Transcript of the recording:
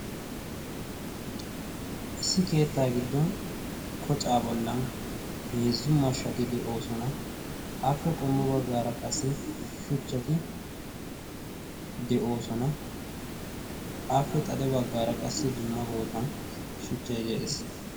issi keettaa giddon kocaa bollan heezzu mashshati de7oosona. afe qommo baggaara qassi shuchchati de7oosona. afe xade baggaara qassi dumma bootan shuchchai de7ees.